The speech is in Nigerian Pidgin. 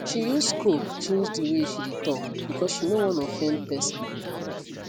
she use scope change the way she dey talk because she no wan offend pesin